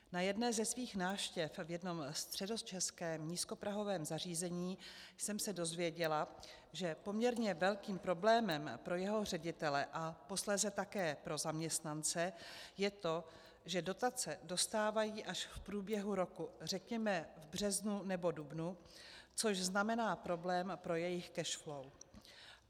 Na jedné ze svých návštěv v jednom středočeském nízkoprahovém zařízení jsem se dozvěděla, že poměrně velkým problémem pro jeho ředitele a posléze také pro zaměstnance je to, že dotace dostávají až v průběhu roku, řekněme v březnu nebo dubnu, což znamená problém pro jejich cash flow.